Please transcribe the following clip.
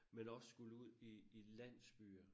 Men også skulle ud i landsbyer